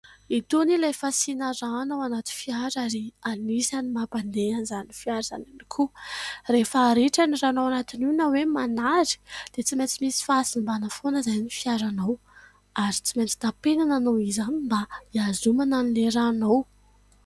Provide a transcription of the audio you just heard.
Itony ilay fasina rano anaty fiara ary anisany mampandeha an'izany fiara izany tokoa. Rehefa ritra ny rano anatin'io na hoe manary dia tsy maintsy misy fahasimbana foana izay ny fiaranao ary tsy maintsy tampenana noho izany mba hiazomana ilay rano ao.